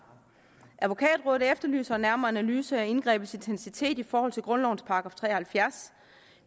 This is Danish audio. advokatrådet efterlyser en nærmere analyse af indgrebets intensitet i forhold til grundlovens § tre og halvfjerds